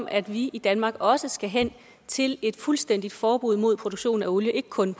at vi i danmark også skal hen til et fuldstændigt forbud mod produktion af olie ikke kun